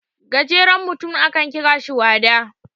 gajerenutum akan kira shi wada